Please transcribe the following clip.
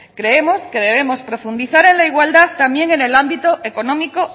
creemos que debemos profundizar en la igualdad también en el ámbito económico